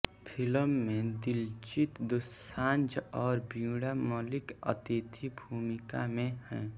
film में दिलजीत दोसांझ और वीणा मलिक अतिथि भूमिका में है